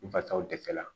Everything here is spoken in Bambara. Fatɔ dɛsɛ la